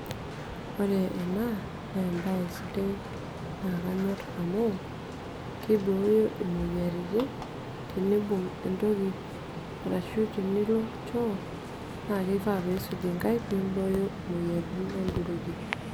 Ore enaa naa embae sidai nakanyor amuu keibooyo teneimbung entoki arashu teniroro shoo naa keifaa peisuj nkaik peimbooyo moyiaritin olduruki.